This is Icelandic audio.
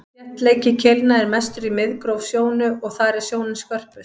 þéttleiki keilna er mestur í miðgróf sjónu og þar er sjónin skörpust